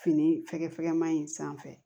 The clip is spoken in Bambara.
Fini fɛkɛfɛgɛma in sanfɛ